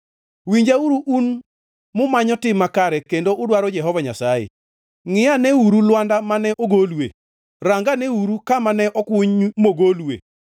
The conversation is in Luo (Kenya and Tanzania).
Winjauru, un mumanyo tim makare kendo udwaro Jehova Nyasaye: Ngʼi aneuru lwanda mane ogolue, ranganeuru kama ne okuny mogolue;